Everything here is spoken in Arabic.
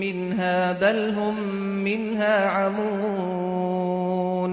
مِّنْهَا ۖ بَلْ هُم مِّنْهَا عَمُونَ